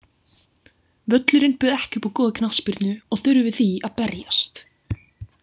Völlurinn bauð ekki upp á góða knattspyrnu og þurftum við því að berjast.